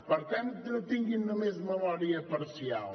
per tant no tinguin només memòria parcial